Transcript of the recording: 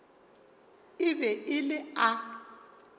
e be e le a